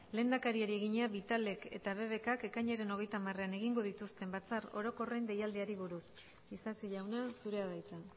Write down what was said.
lehendakariari egina vitalek eta bbk k ekainaren hogeita hamarean egingo dituzten batzar orokorren deialdiei buruz isasi jauna zurea da hitza